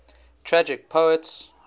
tragic poets